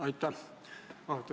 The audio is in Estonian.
Aitäh!